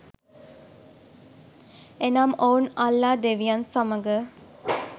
එනම් ඔවුන් අල්ලා ‍දෙවියන් සමඟ